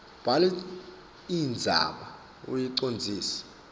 bhala indzaba uyicondzise